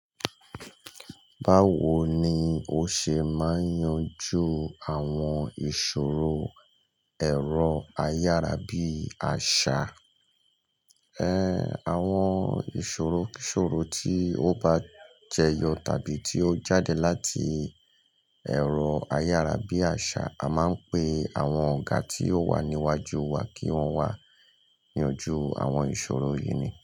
Báwo ni o ṣe máa yanjú àwọn ìṣòro ẹ̀rọ ayárabíàṣá? Eh, àwọn ìṣòro-ìṣòro tí ó bá jẹyọ tàbí tí ó jáde láti ẹ̀rọ ayárabíàṣá, a máa ń pe àwọn ọ̀gá tí ó wà níwájú wa kí wọ́n wà gbíyànjú àwọn ìṣòro yìí ni.